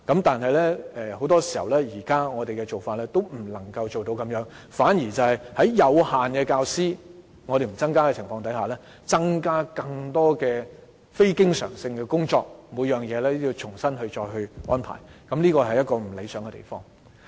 但是，現時我們的做法往往也不能達到這樣的效果，反而是在不增加教師的情況下，增加更多非經常性工作，以致每項工作也要重新安排，這是不理想的。